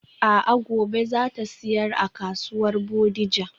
A'a gobe zata siyar a kasuwar Bodija.